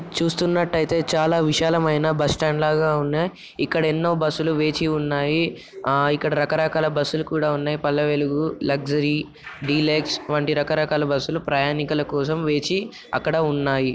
చుస్తున్నట్టయితే చాలా విశాలమైన bus stand లాగా ఉన్నాయి. ఇక్కడ ఎన్నో బస్సు లు వేచి ఉన్నాయి. ఆ ఇక్కడ రక రకాల బస్సు లు కూడా ఉన్నాయి పల్లె వెలుగు లక్సరీ డీలక్ష్ వంటి రక రకాల బస్సు లు ప్రయాణికుల కోసం వేచి అక్కడ ఉన్నాయి.